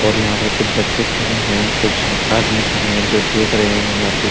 और यहाँ पर कुछ बच्चे खड़े हैं कुछ आदमी खड़े है जो दिख रहे हैं मज़्जीद।